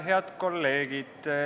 Head kolleegid!